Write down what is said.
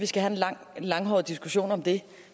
langhåret diskussion om det